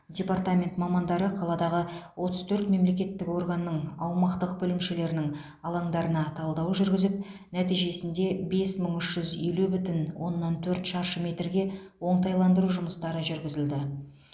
департамент мамандары қаладағы отыз төрт мемлекеттік органның аумақтық бөлімшелерінің алаңдарына талдау жүргізіп нәтижесінде бес мың үш жүз елу бүтін оннан төрт шаршы метрге оңтайландыру жұмыстары жүргізілді